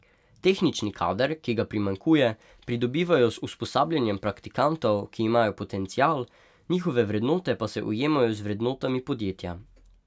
Tehnični kader, ki ga primanjkuje, pridobivajo z usposabljanjem praktikantov, ki imajo potencial, njihove vrednote pa se ujemajo z vrednotami podjetja.